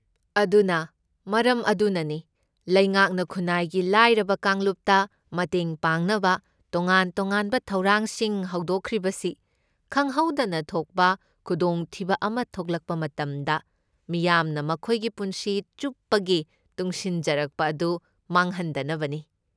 ꯑꯗꯨꯅ ꯃꯔꯝ ꯑꯗꯨꯅꯅꯤ ꯂꯩꯉꯥꯛꯅ ꯈꯨꯟꯅꯥꯏꯒꯤ ꯂꯥꯏꯔꯕ ꯀꯥꯡꯂꯨꯞꯇ ꯃꯇꯦꯡ ꯄꯥꯡꯅꯕ ꯇꯣꯉꯥꯟ ꯇꯣꯉꯥꯟꯕ ꯊꯧꯔꯥꯡꯁꯤꯡ ꯍꯧꯗꯣꯛꯈ꯭ꯔꯤꯕꯁꯤ, ꯈꯪꯍꯧꯗꯅ ꯊꯣꯛꯄ ꯈꯨꯗꯣꯡꯊꯤꯕ ꯑꯃ ꯊꯣꯛꯂꯛꯄ ꯃꯇꯝꯗ, ꯃꯤꯌꯥꯝꯅ ꯃꯈꯣꯏꯒꯤ ꯄꯨꯟꯁꯤ ꯆꯨꯞꯄꯒꯤ ꯇꯨꯡꯁꯤꯟꯖꯔꯛꯄ ꯑꯗꯨ ꯃꯥꯡꯍꯟꯗꯅꯕꯅꯤ꯫